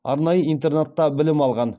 арнайы интернатта білім алған